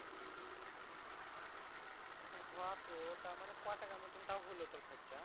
ও হো তো তারমানে কয় টাকার মতন তাও হলো তোর খরচা?